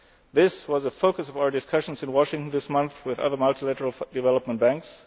Goals. This was a focus of our discussions in Washington this month with other multilateral development